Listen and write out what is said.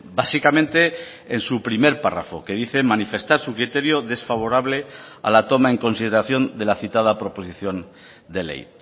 básicamente en su primer párrafo que dice manifestar su criterio desfavorable a la toma en consideración de la citada proposición de ley